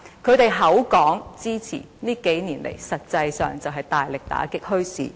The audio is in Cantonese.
他們口說支持，但這數年來，實際上是大力打擊墟市。